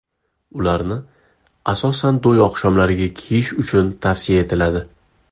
Ularni, asosan, to‘y oqshomlariga kiyish tavsiya etiladi.